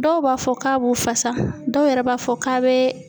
Dɔw b'a fɔ k'a b'u fasa dɔw yɛrɛ b'a fɔ k'a be